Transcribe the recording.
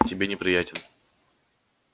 тебе неприятен